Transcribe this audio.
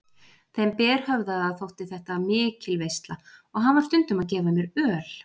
Þeim berhöfðaða þótti þetta mikil veisla og hann var stundum að gefa mér öl.